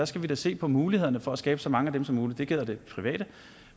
skal vi da se på mulighederne for at skabe så mange af dem som muligt det gælder det private